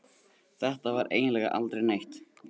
Þetta var eiginlega aldrei neitt.